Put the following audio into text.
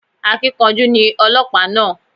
Akíkanjú ni ọlọ́pàá náà